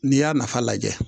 N'i y'a nafa lajɛ